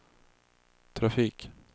trafik